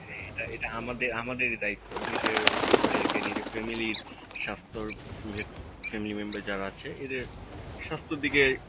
এটা এটা আমাদের আমাদেরই দায়িত্ত নিজের সরিল কে নিজের family র স্বাস্থ্য র family member যারা আছে এদের স্বাস্থ্যর দিকে